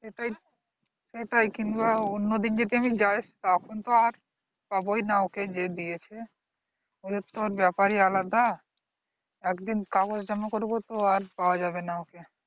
এটাই কিন্তু আবার অন্যদিন যদি যাই তখন তো আর পাবুই না যে দিয়েছে ওদের তো ব্যাপারই আলাদা একদিন কাগজ জমা করবো তো আর পাওয়া যাবে না ওকে।